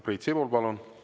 Priit Sibul, palun!